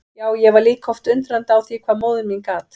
Já, ég var líka oft undrandi á því hvað móðir mín gat.